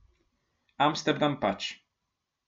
Amsterdam pač.